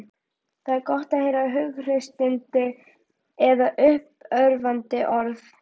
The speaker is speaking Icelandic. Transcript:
Það er gott að heyra hughreystandi eða uppörvandi orð.